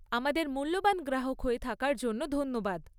আমাদের মূল্যবান গ্রাহক হয়ে থাকার জন্য ধন্যবাদ।